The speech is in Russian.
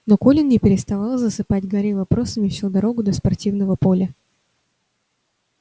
но колин не переставал засыпать гарри вопросами всю дорогу до спортивного поля